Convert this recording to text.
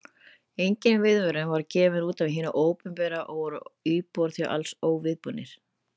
Engin viðvörun var gefin út af hinu opinbera og voru íbúar því alls óviðbúnir.